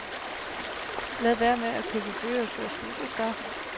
Lad være med at købe bøgerne før studiestart.